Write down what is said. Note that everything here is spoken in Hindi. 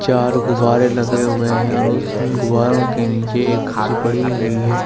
चार गुब्बारे लगे हुए है और उस उन गुब्बारों के नीचे एक कुर्सी पड़ी हुई है ।